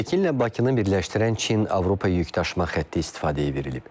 Pekinlə Bakını birləşdirən Çin-Avropa yükdaşıma xətti istifadəyə verilib.